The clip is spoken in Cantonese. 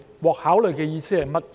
"獲考慮"的意思是甚麼？